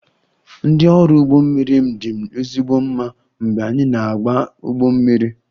Ndị ọrụ ụgbọ mmiri m dị m ezigbo mma mgbe anyị na-agba ụgbọ mmiri